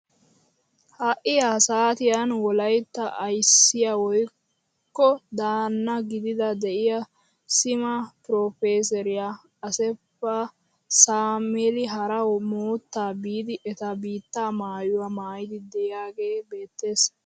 Ha'i ha saatiyaan wolayttaa ayssiyaa woykko daanna gididi de'iyaa sima pirofesseriyaa assefa saameel hara moottaa biidi eta biittaa maayuwaa mayidi de'iyaagee beettees!